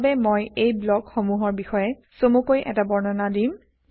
সেইবাবে মই এই ব্লক সমূহৰ বিষয়ে চমুকৈ এটা বৰ্ণনা দিম